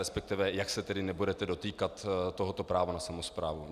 Respektive jak se tedy nebudete dotýkat tohoto práva na samosprávu.